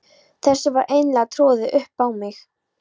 Þessu var eiginlega troðið upp á mig.